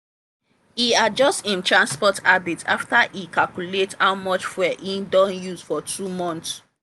e adjust im transport habits after e calculate how much fuel e don use for two months.